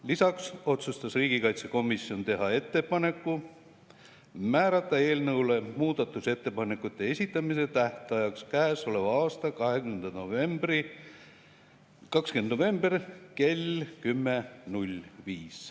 Lisaks otsustas riigikaitsekomisjon teha ettepaneku määrata eelnõu muudatusettepanekute esitamise tähtajaks käesoleva aasta 20. november kell 10.05.